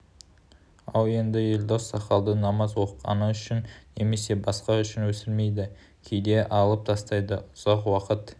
ал енді елдос сақалды намаз оқығаны үшін немесе басқа үшін өсірмейді кейде алып тастайды ұзақ уақыт